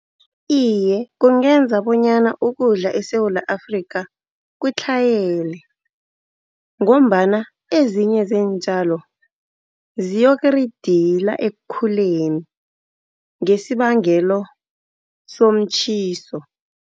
Iye kungenza bonyana ukudla eSewula Afrika kutlhayele, ngombana ezinye zeentjalo ziyokuridila ekukhuleni ngesibangelo somtjhiso.